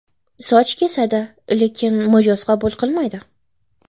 Soch kesadi, lekin mijoz qabul qilmaydi.